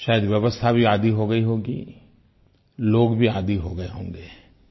शायद व्यवस्था भी आदी हो गयी होगी लोग भी आदी हो गए होंगे